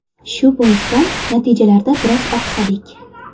Shu boisdan, natijalarda biroz oqsadik.